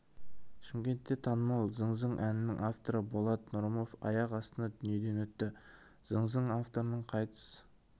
шымкентте танымал зың зың әнінің авторы болат нұрымов аяқ астынан дүниеден өтті зың зың авторының қайтыс